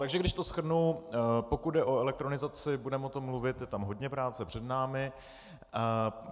Takže když to shrnu, pokud jde o elektronizaci, budeme o tom mluvit, je tam hodně práce před námi.